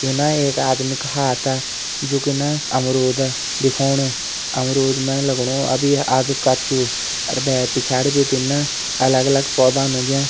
युना एक आदमी का हाता जोकि न अमरुद दिखाेणु अमरुद में लगणू अभी आदु कच्चू और बहर पिछाड़ी भिटिन अलग-अलग पौधान उग्यां।